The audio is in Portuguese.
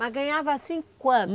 Mas ganhava assim quanto?